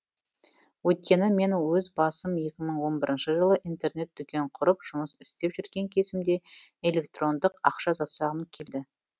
өйткені мен өз басым екі мың он бірінші жылы интернет дүкен құрып жұмыс істеп жүрген кезімде электрондық ақша жасағым келді